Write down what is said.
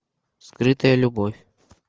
скрытая любовь